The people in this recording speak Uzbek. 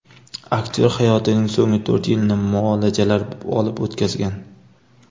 Aktyor hayotining so‘nggi to‘rt yilini muolajalar olib o‘tkazgan.